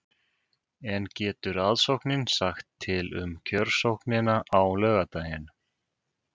En getur aðsóknin sagt til um kjörsóknina á laugardaginn?